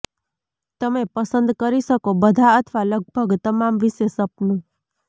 તમે પસંદ કરી શકો બધા અથવા લગભગ તમામ વિશે સપનું